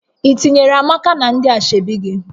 Ị tinyere Amaka na ndị ashebi gị?